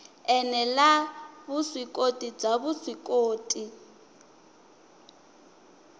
ene la vuswikoti bya vuswikoti